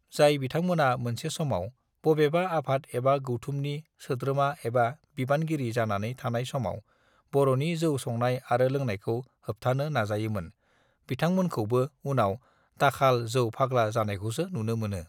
जाय बिथांमोना मोनसे समाव बबेबा आफाद एबा गौथुमनि सोद्रोमा एबा बिबानगिरि जानानै थानाय समाव बर नि जौ संनाय आरो लोंनायखौ होबथानो नाजायोमोन बिथांमोनखौबो उनाव दाखाल जौ फाग्ला जानायखौसो नुनो मोनो